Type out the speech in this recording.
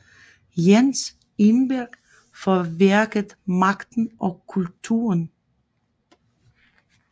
Jens Engberg for værket Magten og kulturen